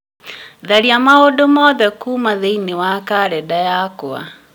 tharia maũndũ mothe kuuma thĩiniĩ wa karenda yakwa